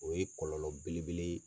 O ye kɔlɔlɔ bele bele ye.